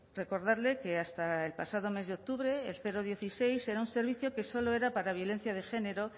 recordarle que hasta el pasado mes de octubre el dieciséis era un servicio que solo era para violencia de género